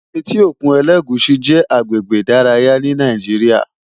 Éti ókún Elegushi jè àgbégbé idàráyá ni Nàijiriá